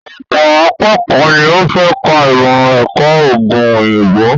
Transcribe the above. Ọ̀pọ̀ akékọ̀ọ́ ni ó fẹ́ ka ìmọ̀-ẹ̀kọ́ òògùn òyìnbó.